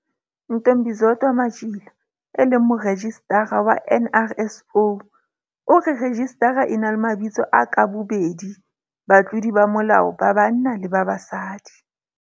Ntombizodwa Matjila, e leng Morejistara wa NRSO, o re rejistara e na le mabitso a ka bobedi batlodi ba molao ba banna le ba basadi.